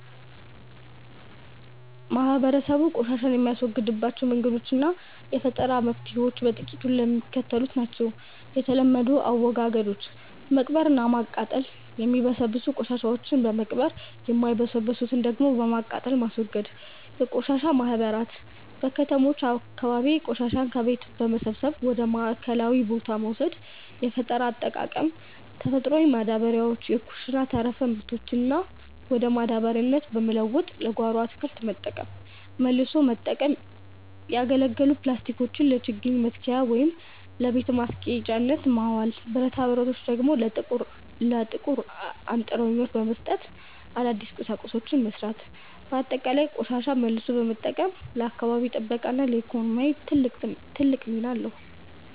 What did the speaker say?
ማህበረሰቡ ቆሻሻን የሚያስወግድባቸው መንገዶችና የፈጠራ መፍትሔዎች በጥቂቱ የሚከተሉት ናቸው፦ የተለመዱ አወጋገዶች፦ መቅበርና ማቃጠል፦ የሚበሰብሱ ቆሻሻዎችን በመቅበር፣ የማይበሰብሱትን ደግሞ በማቃጠል ማስወገድ። የቆሻሻ ማህበራት፦ በከተሞች አካባቢ ቆሻሻን ከቤት በመሰብሰብ ወደ ማዕከላዊ ቦታ መውሰድ። የፈጠራ አጠቃቀም፦ ተፈጥሮ ማዳበሪያ፦ የኩሽና ተረፈ ምርቶችን ወደ ማዳበሪያነት በመለወጥ ለጓሮ አትክልት መጠቀም። መልሶ መጠቀም፦ ያገለገሉ ፕላስቲኮችን ለችግኝ መትከያ ወይም ለቤት ማስጌጫነት ማዋል፤ ብረታብረቶችን ደግሞ ለጥቁር አንጥረኞች በመስጠት አዳዲስ ቁሳቁሶችን መሥራት። ባጠቃላይ፣ ቆሻሻን መልሶ መጠቀም ለአካባቢ ጥበቃና ለኢኮኖሚ ትልቅ ጥቅም አለው።